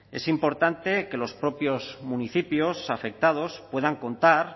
es importante que los propios municipios afectados puedan contar